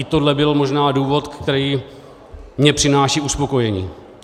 I tohle byl možná důvod, který mi přináší uspokojení.